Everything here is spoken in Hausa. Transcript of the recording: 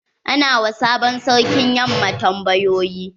Ana wa sabon sarkin yamma tambayoyi.